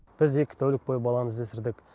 біз екі тәулік бойы баланы іздестірдік